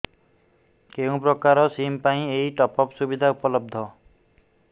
କେଉଁ ପ୍ରକାର ସିମ୍ ପାଇଁ ଏଇ ଟପ୍ଅପ୍ ସୁବିଧା ଉପଲବ୍ଧ